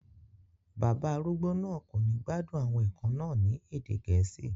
Bàbá arúgbó náà kò ní gbádùn àwọn ẹ̀kọ́ náà ní èdè Gẹ̀ẹ́sì